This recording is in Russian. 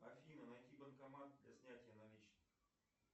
афина найди банкомат для снятия наличных